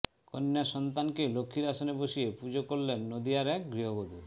কন্য়াসন্তানকে লক্ষ্মীর আসনে বসিয়ে পুজো করলেন নদিয়ার এক গৃহবধূ